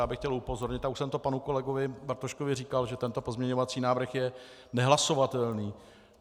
Já bych chtěl upozornit, a už jsem to panu kolegovi Bartoškovi říkal, že tento pozměňovací návrh je nehlasovatelný.